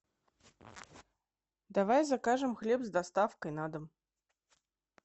давай закажем хлеб с доставкой на дом